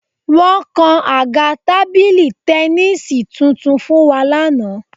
Wọ́n kan àga tábìlì tẹníìsì tuntun fún wa lánàá